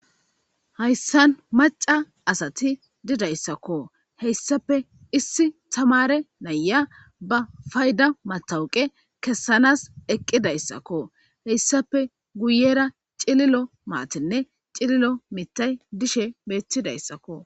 Hayssan maca asati didayssakko heyssape issi tamare naya ba fayda matawuqe kessanas eqqidayssakko heyssape guyera cililo maatinne cililo mitay dishe beettidayssakko